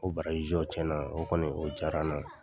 O jɔ, tiɲɛna o diyara n na.